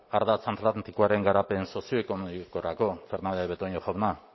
ardatz atlantikoaren garapen sozioekonomikorako fernandez de betoño jauna